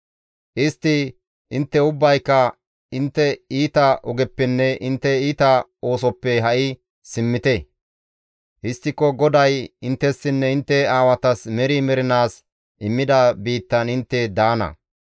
Istti, «Intte ubbayka intte iita ogeppenne intte iita oosoppe ha7i simmite. Histtiko GODAY inttessinne intte aawatas meri mernaas immida biittan intte daana.